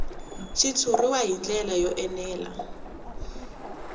xitshuriwa hi ndlela yo enela